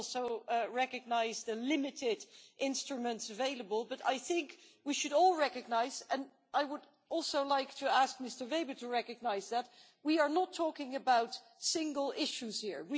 I also recognise the limited instruments available, but I think we should all recognise, and I would also like to ask Mr Weber to recognise that we are not talking about single issues here.